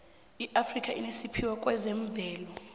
iafrika inesiphiwo kwezemvelo